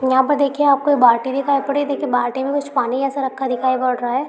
यहां पर देखिए आपको बाल्टी दिखाई पड़ी है। देखिए बाल्टी में कुछ पानी जैसा रखा दिखाई पड़ रहा है।